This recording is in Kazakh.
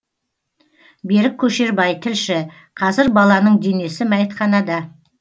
берік көшербай тілші қазір баланың денесі мәйітханада